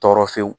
Tɔɔrɔ fewu